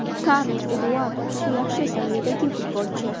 Karlos Eduardo juda yaxshi saviyadagi futbolchi.